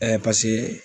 paseke